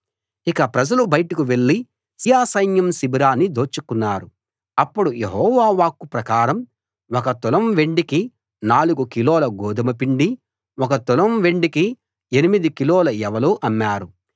ఇక ప్రజలు బయటకు వెళ్ళి సిరియా సైన్యం శిబిరాన్ని దోచుకున్నారు అప్పుడు యెహోవా వాక్కు ప్రకారం ఒక తులం వెండికి నాలుగు కిలోల గోదుమ పిండీ ఒక తులం వెండికి ఎనిమిది కిలోల యవలూ అమ్మారు